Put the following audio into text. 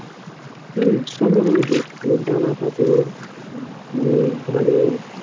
এর সব রকমের জিনিস পাওয়া যাচ্ছিল, জামা কাপড় মানে ঘরের